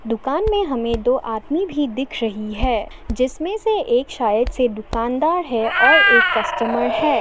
दुकान में हमें दो आदमी भी दिख रही है जिसमें से एक शायद से दुकानदार है और एक कस्टमर है।